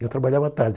Eu trabalhava à tarde.